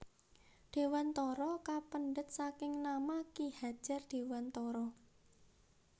Dewantara kapendhet saking nama Ki Hadjar Dewantara